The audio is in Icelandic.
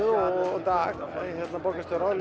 og Dag borgarstjóra